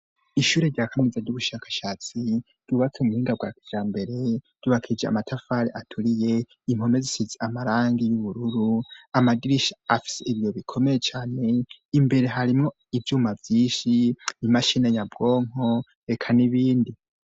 Ishure rya kaminuza ry'ubushakashatsi ryubatse mubuhinga bwa kijambere ryubakije amatafari aturiye impome zisize amarangi y'ubururu amadirisha afise ibiyo bikomeye cane imbere harimwo ivyuma vyishi imashine nyabwonko reka n'ibindi.